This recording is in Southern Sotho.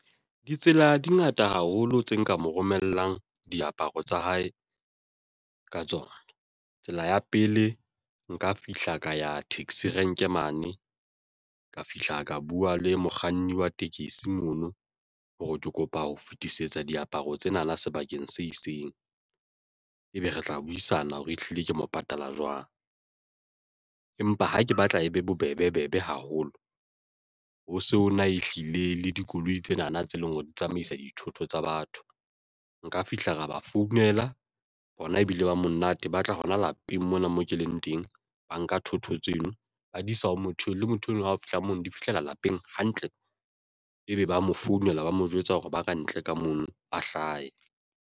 Ditsela di ngata haholo tse nka mo romellang diaparo tsa hae ka tsona. Tsela ya pele nka fihla ka ya taxi rank e mane ka fihla ka bua le mokganni wa tekesi mono hore ke kopa ho fetisetsa diaparo tsenana sebakeng se itseng ebe re tla buisana hore ehlile ke mo patala jwang. Empa ha ke batla e be bobebe haholo ho sona ehlile le dikoloi tsena na tse leng hore di tsamaisa dithoto tsa batho. Nka fihla ra ba founela hona ebile ba monate ba tla hona lapeng mona moo ke leng teng ba nka thotho tseno, ba di isa, hore motho le motho enwa hao fihla mono di fihlela lapeng hantle, ebe ba mo founela ba mo jwetsa hore ba ka ntle ka mono a hlahe.